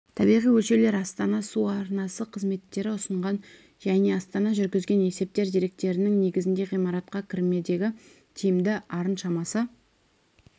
табиғи өлшеулер астана су арнасы қызметтері ұсынған және астана жүргізген есептер деректерінің негізінде ғимаратқа кірмедегі тиімді арын шамасы